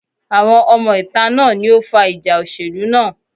Àwọn ọmọ ìta náà ni ó fa ìjà òṣèlú náà.